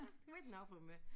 De var ikke noget for mig